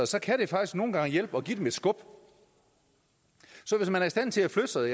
sig kan det faktisk nogle gange hjælpe at give dem et skub så hvis man er i stand til at flytte sig